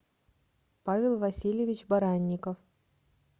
павел васильевич баранников